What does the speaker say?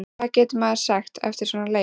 Hvað getur maður sagt eftir svona leik?